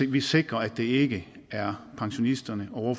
vi sikrer at det ikke er pensionisterne og